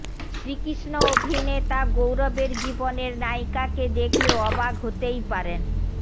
শ্রীকৃষ্ণ অভিনেতা গৌরবের জীবনের নায়িকাকে দেখলে অবাক হতেই পারেন